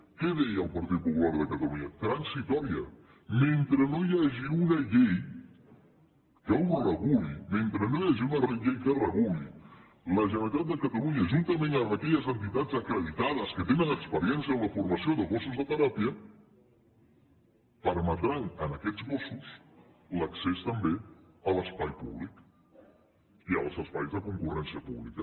què deia el partit popular de catalunya transitòria mentre no hi hagi una llei que ho reguli mentre no hi hagi una llei que ho reguli la generalitat de catalunya juntament amb aquelles entitats acreditades que tenen experiència en la formació de gossos de teràpia permetran a aquests gossos l’accés també a l’espai públic i als espais de concurrència pública